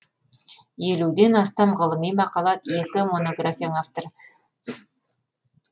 елуден астам ғылыми мақала екі монографияның авторы